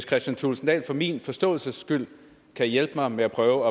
kristian thulesen dahl for min forståelses skyld hjælpe mig med at prøve